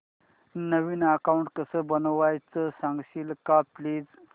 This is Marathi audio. नवीन अकाऊंट कसं बनवायचं सांगशील का प्लीज